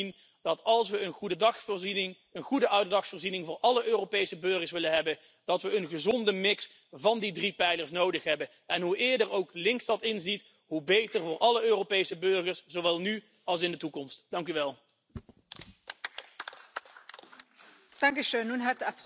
darstellte. Und heute ist das Problem, dass es weit mehr als das Problem der ungewollten Kinderlosigkeit gibt. Es gibt das große Problem der gewollten Kinderlosigkeit Menschen, die einfach keine Kinder aufziehen wollen oder sich mit einem Kind bescheiden wollen. Diese Menschen haben große Verdienstmöglichkeiten.